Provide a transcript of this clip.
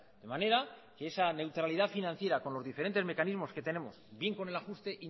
de manera que esa neutralidad financiera con los diferentes mecanismos que tenemos bien con el ajuste